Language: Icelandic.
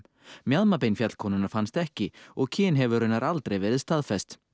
mjaðmabein fjallkonunnar fannst ekki og kyn hefur raunar aldrei verið staðfest